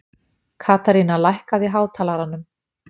Katharina, lækkaðu í hátalaranum.